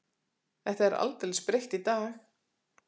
Þetta er aldeilis breytt í dag?